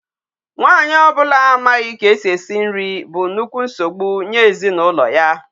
Nwaanyị o bula amaghi ka esi esi nri bu nnukwu nsogbu nye ezinulo ya.